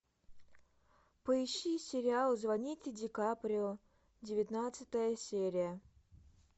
поищи сериал звоните ди каприо девятнадцатая серия